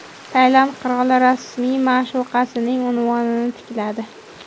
Tailand qiroli rasmiy ma’shuqasining unvonini tikladi.